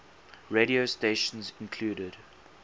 radio stations include